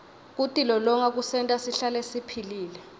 kutilolonga kusenta sihlale siphilile